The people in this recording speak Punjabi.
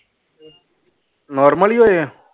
Normal ਹੀ ਹੋਏ ਆ?